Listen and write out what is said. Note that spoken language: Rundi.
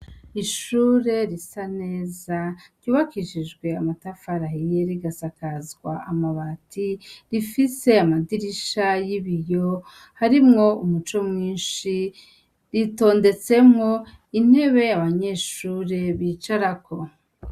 Ishure risa neza ryubakishijwe amatafari ahiye rigasakazwa amabati, rifise amadirisha y'ibiyo, harimwo umuco mwinshi ,ritondetsemwo intebe abanyeshure bicarako.